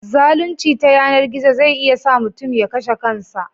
Zalunci ta yanar gizo zai iya sa mutum ya kashe kansa